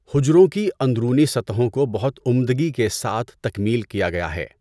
حجروں کی اندرونی سطحوں کو بہت عمدگی کے ساتھ تکمیل کیا گیا ہے۔